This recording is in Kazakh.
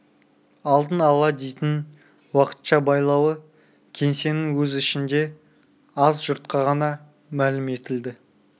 алдын ала дейтін уақытша байлауы кеңсенің өз ішінде аз жұртқа ғана мәлім етілді